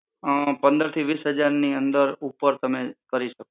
અમ પંદર થી વીસ હજાર ની અંદર ઉપર તમે કરી શકો.